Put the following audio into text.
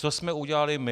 Co jsme udělali my?